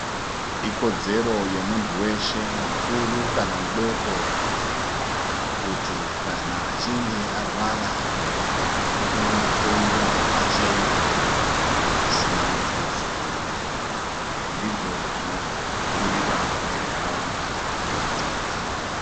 Ikodzero yemuntu weshe mukuru kana mudoko kuti kana achinge arwara unondohloyiwa pachena pasina mutuso ndzivo zvinobhuyiwa ngentaraunda yetinogara.